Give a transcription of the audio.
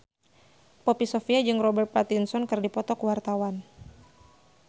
Poppy Sovia jeung Robert Pattinson keur dipoto ku wartawan